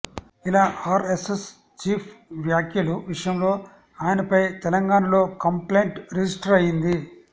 ఇలా RSS chief వ్యాఖ్యల విషయంలో ఆయనపై తెలంగాణలో కంప్లైంట్ రిజిస్టర్ అయ్యింది